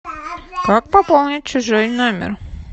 как пополнить чужой номер